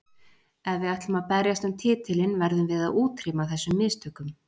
Ef við ætlum að berjast um titilinn verðum við að útrýma þessum mistökum.